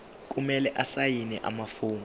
kumele asayine amafomu